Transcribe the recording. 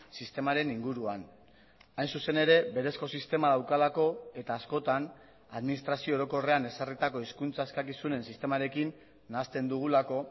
sistemaren inguruan hain zuzen ere berezko sistema daukalako eta askotan administrazio orokorrean ezarritako hizkuntza eskakizunen sistemarekin nahasten dugulako